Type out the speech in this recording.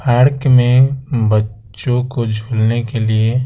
park में बच्चो को झूलने के लिए--